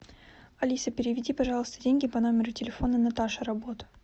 алиса переведи пожалуйста деньги по номеру телефона наташа работа